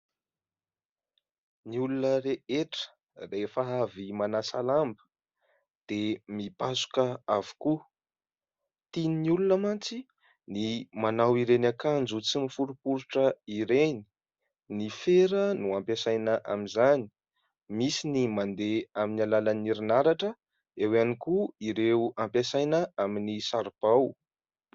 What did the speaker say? Ny olona rehetra rehefa avy manasa lamba dia mipasoka avokoa. Tian'ny olona mantsy ny manao ireny akanjo tsy miforiporitra ireny. Ny fera no ampiasaina amin'izany. Misy ny mandeha amin'ny alalan'ny herinaratra, eo ihany koa ireo ampiasaina amin'ny saribao.